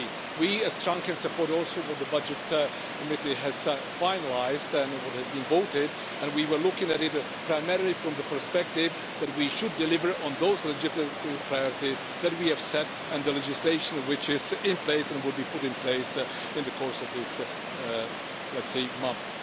We strongly support also what the Budget Committee has finalised and what has been voted, and we were looking at it primarily from the perspective that we should deliver on those legitimate priorities that we have set and the legislation which is in place and will be put in place in the course of these months.